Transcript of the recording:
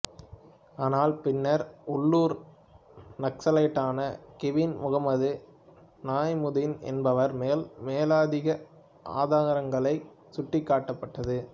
ஆனால் பின்னர் உள்ளூர் நக்சலைட்டான கிங்பின் முகமது நயீமுதீன் என்பவர் மேல் மேலதிக ஆதாரங்கள் சுட்டிக்காட்டப்பட்டது